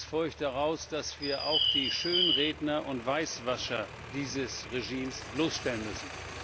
Zweitens folgt daraus, dass wir auch die Schönredner und Weißwascher dieses Regimes bloßstellen müssen.